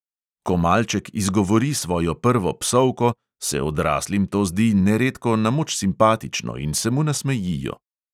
Ko malček izgovori svojo prvo psovko, se odraslim to zdi neredko na moč simpatično in se mu nasmejijo.